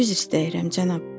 Üzr istəyirəm, cənab.